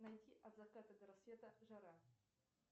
найти от заката до рассвета жара